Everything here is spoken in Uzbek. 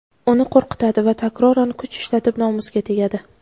uni qo‘rqitadi va takroran kuch ishlatib nomusiga tegadi.